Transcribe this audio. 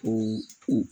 Ko u